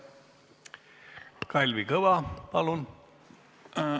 Kalvi Kõva, palun!